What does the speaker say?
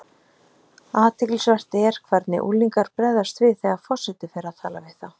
Athyglisvert er hvernig unglingar bregðast við þegar forseti fer að tala við þá.